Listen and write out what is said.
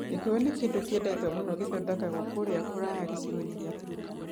Gĩkũyũ nĩ kĩndũ kĩendetwo mũno gĩthondekagwo kũrĩa kũraya gĩcigo-inĩ kĩa Turkana.